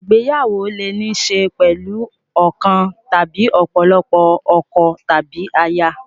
Ìgbéyàwó lè ní í ṣe pẹ̀lú ọ̀kan tàbí ọ̀pọ̀lọpọ̀ ọkọ tàbí aya.